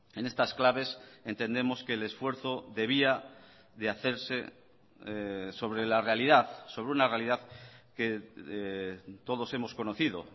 en estas claves entendemos que el esfuerzo debía de hacerse sobre la realidad sobre una realidad que todos hemos conocido